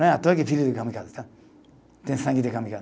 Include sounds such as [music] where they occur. Não é à toa que filho de kamikaze, tem sangue de [unintelligible]